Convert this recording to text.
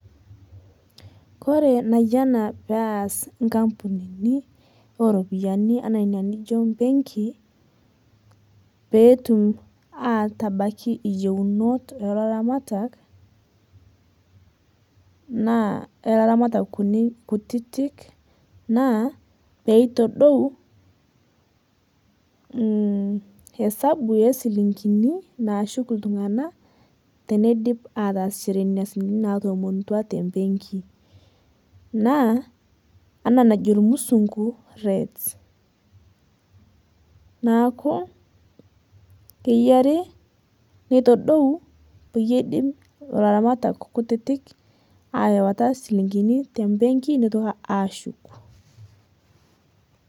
Kore naiyanaa pee aas nkampunini oropiani ana enia nijoo mbenkii pee etuum atabaki iyieunot e loramatak kutitk e loramatak kunii kutitk naa poo itodouu hesabu e siling'ini naishuuk ltung'ana tenediip ataasishore nenia siling'ini naatomotua te mbenkii. Naa anaa najoo musunguu rates. Naaku keiyaari neitodou peiyie idiim olaramatak nkutitik aiwaata siling'ini te mbenkii neitokii ashuuku.